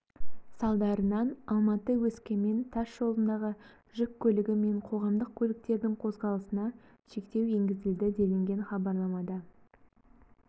салдарынан алматы өскемен тас жолындағы жүк көлігі мен қоғамдық көліктердің қозғалысына шектеу енгізілді делінген хабарламада